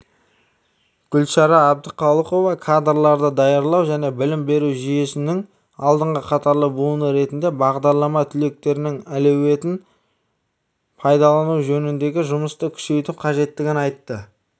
гүлшара әбдіқалықова кадрларды даярлау және білім беру жүйесінің алдыңғы қатарлы буыны ретінде бағдарлама түлектерінің әлеуетін пайдалану жөніндегі жұмысты күшейту қажеттігін айтты